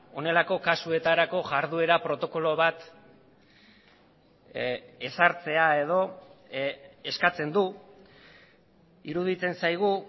honelako kasuetarako jarduera protokolo bat ezartzea edo eskatzen du iruditzen zaigu